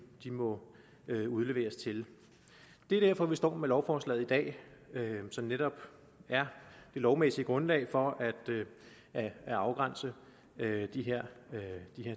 må udleveres til det er derfor vi står med lovforslaget i dag som netop er det lovmæssige grundlag for at afgrænse de her